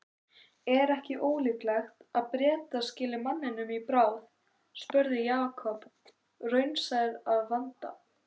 Er ekki ólíklegt að Bretar skili manninum í bráð? spurði Jakob, raunsær að vanda.